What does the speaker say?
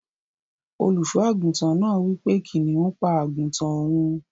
Oluso aguntan naa wipe kiniun pa aguntan oun.